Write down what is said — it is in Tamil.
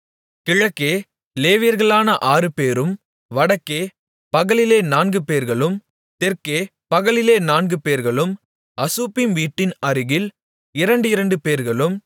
கிழக்கே லேவியர்களான ஆறுபேரும் வடக்கே பகலிலே நான்குபேர்களும் தெற்கே பகலிலே நான்குபேர்களும் அசுப்பீம் வீட்டின் அருகில் இரண்டிரண்டுபேர்களும்